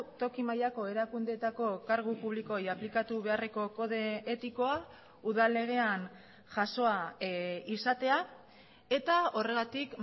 toki mailako erakundeetako kargu publikoei aplikatu beharreko kode etikoa udal legean jasoa izatea eta horregatik